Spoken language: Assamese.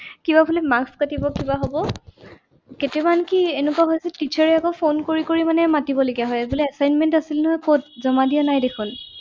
কিবা বোলে marks কাটিব কিবা হ'ব। কেতিয়াবা আনকি এনেকুৱা হৈছে teacher এ আকৌ phone কৰি কৰি মানে মাতিবলগীয়া হয় বোলে assignment আছিলে নহয় কত জমা দিয়া নাই দেখোন।